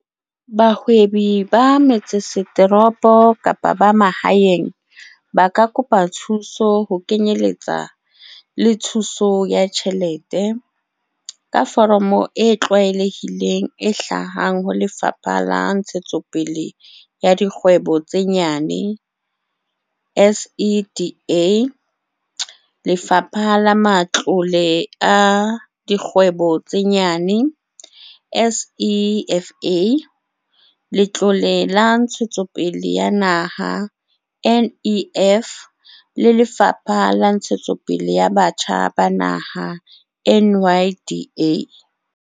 Bahwebi ba metsesetoropo kapa ba mahaeng ba ka kopa thuso, ho kenyeletsa le thuso ya tjhelete, ka foromo e tlwaelehileng e hlahang ho Lefapha la Ntshetsopele ya Dikgwebo tse Nyane, SEDA, Lefapha la Matlole a Dikgwebo tse Nyane, SEFA, Letlole la Ntshetsopele ya Naha, NEF, le Lefapha la Ntshetsopele ya Batjha ba Naha, NYDA.